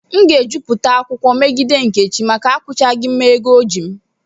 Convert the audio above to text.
M ga-ejupụta akwụkwọ megide nkechi maka akwụghachighị m ego m.